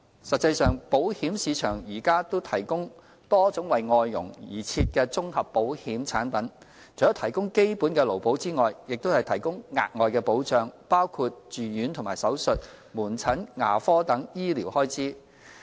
實際上，保險市場現正提供多種為外傭而設的綜合保險產品，除了提供基本的勞保外，也提供額外的保障，包括住院及手術、門診、牙科等醫療開支。